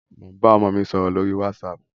Mo ń bá ọmọ mi sọ̀rọ̀ lórí wásaàpù.